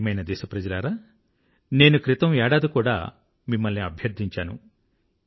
నా ప్రియమైన దేశప్రజలారా నేను క్రితం ఏడాది కూడా మిమ్మల్ని అభ్యర్థించాను